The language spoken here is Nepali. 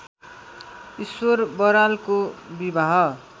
ईश्वर बरालको विवाह